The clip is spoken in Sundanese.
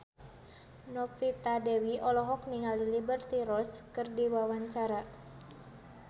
Novita Dewi olohok ningali Liberty Ross keur diwawancara